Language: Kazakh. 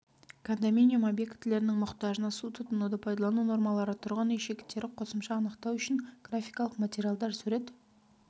кондоминиум объектілерінің мұқтажына су тұтынуды пайдалану нормалары тұрғын үй шектері қосымша анықтау үшін графикалық материалдар сурет